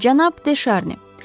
Cənab De Şarni.